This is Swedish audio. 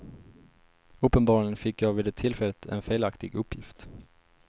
Uppenbarligen fick jag vid det tillfället en felaktig uppgift.